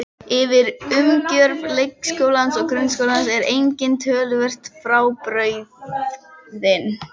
Ytri umgjörð leikskólans og grunnskólans er einnig töluvert frábrugðin.